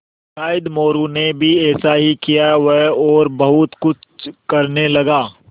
शायद मोरू ने भी ऐसा ही किया वह और बहुत कुछ करने लगा